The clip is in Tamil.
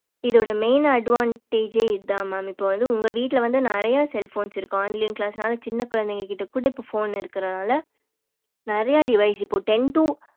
இதோட main advantage அஹ் இத mam இப்போ வந்து உங்க வீட்டுல நெறைய cellphones இருக்கும் online class நாலா சின்ன குழந்தைங்கள் கிட்ட குட இப்போ phone இருக்குற நாலா நெறைய device இப்போ ten to